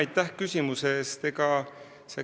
Aitäh küsimuse eest!